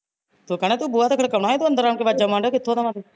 ਤੂੰ ਕਹਿਣਾ ਤੂੰ ਬੂਹਾ ਤਾਂ ਖੜਕਾਉਣਾ ਸੀ ਤੂੰ ਅੰਦਰ ਆਣ ਕੇ ਆਵਾਜ਼ਾਂ ਮਾਰਨ ਡਿਆ ਕਿਥੋਂ ਦਾ ਵਾ ਤੂੰ